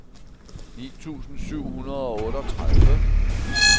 ni tusind syv hundrede og otteogtredive